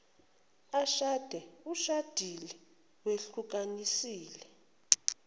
ashade ushadile wehlukanisile